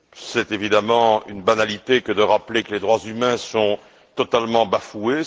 C'est évidemment une banalité que de rappeler que les droits humains sont totalement bafoués.